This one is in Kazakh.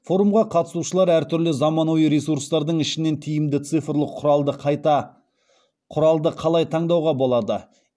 форумға қатысушылар әртүрлі заманауи ресурстардың ішінен тиімді цифрлық құралды қалай таңдауға болады